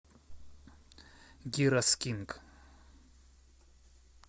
гирос кинг